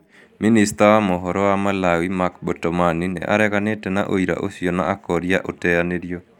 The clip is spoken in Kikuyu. Minista wa mohoro wa Malawi, Mark Botomani, nĩ areganĩte na ũira ũcio na akoria ũteanerio.